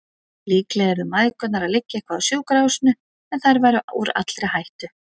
Líklega yrðu mæðgurnar að liggja eitthvað á sjúkrahúsinu, en þær væru úr allri hættu.